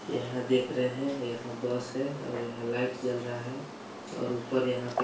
यह देख रहे है यहाँ बस है और यहाँ लाइट जल रही है और ऊपर यहाँ पे